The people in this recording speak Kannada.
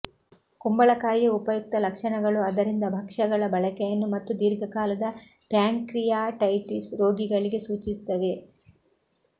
ಕುಂಬಳಕಾಯಿಯ ಉಪಯುಕ್ತ ಲಕ್ಷಣಗಳು ಅದರಿಂದ ಭಕ್ಷ್ಯಗಳ ಬಳಕೆಯನ್ನು ಮತ್ತು ದೀರ್ಘಕಾಲದ ಪ್ಯಾಂಕ್ರಿಯಾಟೈಟಿಸ್ ರೋಗಿಗಳಿಗೆ ಸೂಚಿಸುತ್ತವೆ